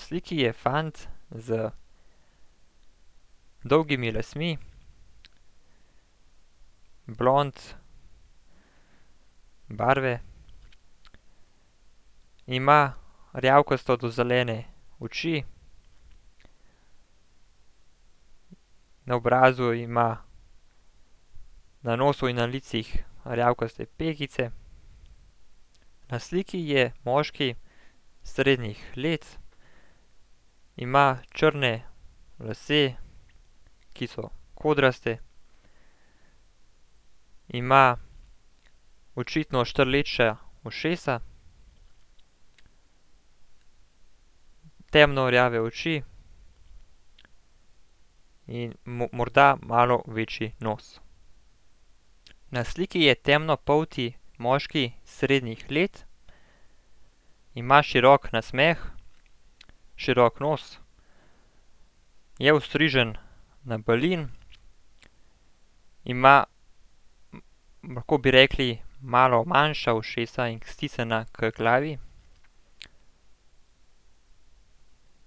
Na sliki je fant z dolgimi lasmi, blond barve. Ima rjavkasto do zelene oči. Na obrazu ima, na nosu in na licih, rjavkaste pegice. Na sliki je moški srednjih let. Ima črne lase, ki so kodrasti. Ima očitno štrleča ušesa, temno rjave oči in morda malo večji nos. Na sliki je temnopolti moški srednjih let, ima širok nasmeh, širok nos, je ostrižen na balin. Ima, lahko bi rekli, malo manjša ušesa in stisnjena h glavi.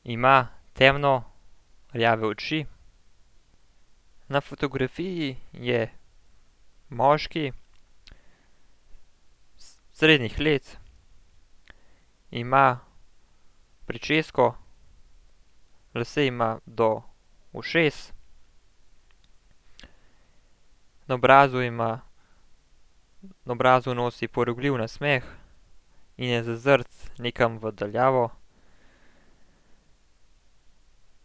Ima temno rjave oči. Na fotografiji je moški srednjih let, ima pričesko, lase ima do ušes. Na obrazu ima, na obrazu nosi porogljiv nasmeh in je zazrt nekam v daljavo.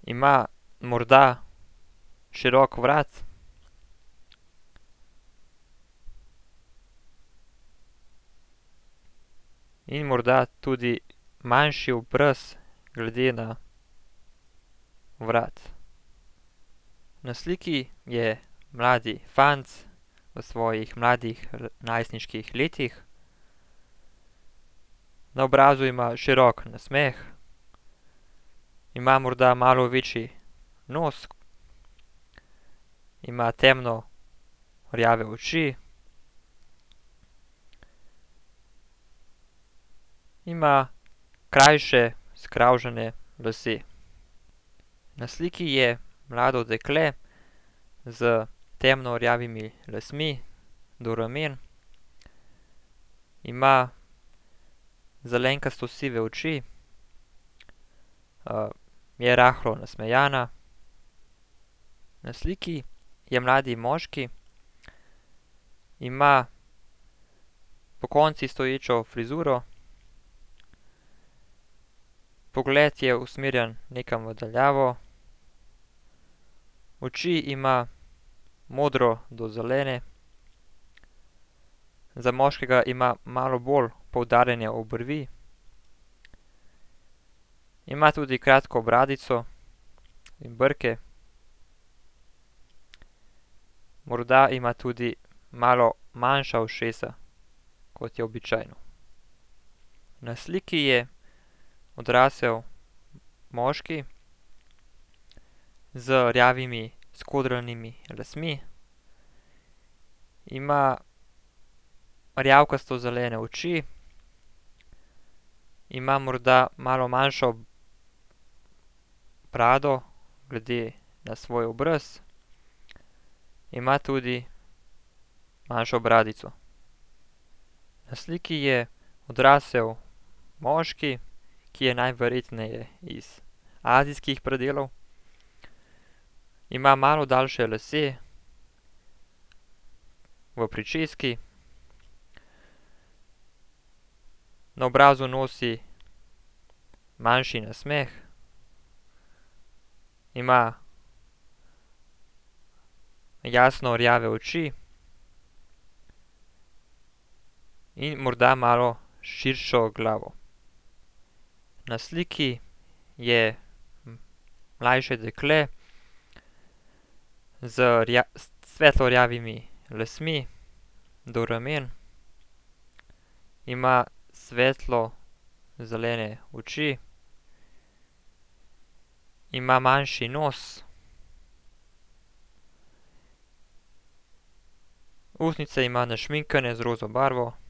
Ima morda širok vrat in morda tudi manjši obraz glede na vrat. Na sliki je mlad fant v svojih mladih najstniških letih, na obrazu ima širok nasmeh, ima morda malo večji nos. Ima temno rjave oči. Ima krajše skravžane lase. Na sliki je mlado dekle s temno rjavimi lasmi do ramen. Ima zelenkasto sive oči, je rahlo nasmejana. Na sliki je mlad moški. Ima pokonci stoječo frizuro. Pogled je usmerjen nekam v daljavo. Oči ima modro do zelene. Za moškega ima malo bolj poudarjene obrvi. Ima tudi kratko bradico, in brke, morda ima tudi malo manjša ušesa, kot je običajno. Na sliki je odrasel moški z rjavimi skodranimi lasmi. Ima rjavkasto zelene oči. Ima morda malo manjšo brado glede na svoj obraz. Ima tudi manjšo bradico. Na sliki je odrasel moški, ki je najverjetneje iz azijskih predelov. Ima malo daljše lase v pričeski. Na obrazu nosi manjši nasmeh. Ima jasno rjave oči in morda malo širšo glavo. Na sliki je mlajše dekle z s svetlo rjavimi lasmi do ramen. Ima svetlo zelene oči. Ima manjši nos. Ustnice ima našminkane z roza barvo.